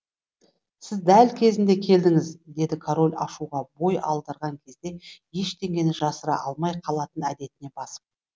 сіз дәл кезінде келдіңіз деді король ашуға бой алдырған кезде ештеңені жасыра алмай қалатын әдетіне басып